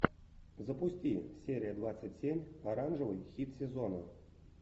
запусти серия двадцать семь оранжевый хит сезона